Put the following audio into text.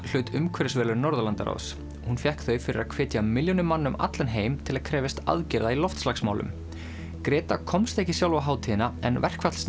hlaut umhverfisverðlaun Norðurlandaráðs hún fékk þau fyrir að hvetja milljónir um allan heim til að krefjast aðgerða í loftslagsmálum komst ekki sjálf á hátíðina en